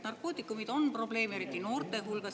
Narkootikumid on probleem, eriti noorte hulgas.